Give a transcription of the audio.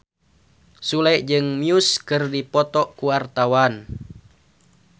Sule jeung Muse keur dipoto ku wartawan